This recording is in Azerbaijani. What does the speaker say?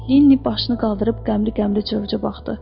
Linni başını qaldırıb qəmli-qəmli Corca baxdı.